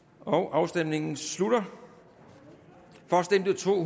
afstemningen slutter for stemte to